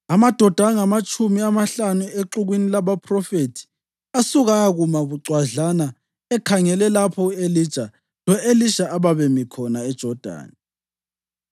Amadoda angamatshumi amahlanu exukwini labaphrofethi asuka ayakuma bucwadlana ekhangele lapho u-Elija lo-Elisha ababemi khona eJodani.